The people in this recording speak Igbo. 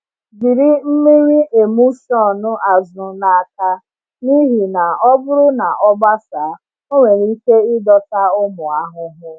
Jiri mmiri emulsion azụ n’aka, n’ihi na ọ bụrụ na ọ gbasaa, ọ nwere ike ịdọta ụmụ ahụhụ.